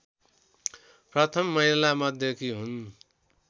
प्रथम महिलामध्येकी हुन्